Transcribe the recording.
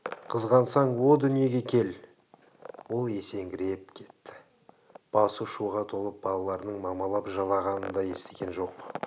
қызғансаң о дүниеге кел ол есеңгіреп кетті басы шуға толып балаларының мамалап жылағанын да естіген жоқ